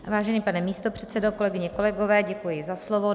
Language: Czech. Vážený pane místopředsedo, kolegyně, kolegové, děkuji za slovo.